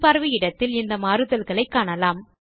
முன் பார்வை இடத்தில் இந்த மாறுதல்களை காணலாம்